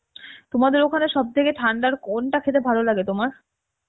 তোমাদের ওখানে সব থেকে ঠান্ডার কোনটা খেতে ভালো লাগে তোমার?